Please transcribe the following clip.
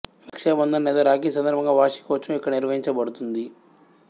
రక్షా బంధన్ లేదా రాఖీ సందర్భంగా వార్షిక ఉత్సవం ఇక్కడ నిర్వహించబడుతుంది